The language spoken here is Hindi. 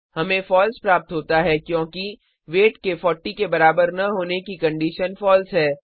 हमें फॉल्स प्राप्त होता है क्योंकि वेट के 40 के बराबर न होने की कंडीशन फॉल्स है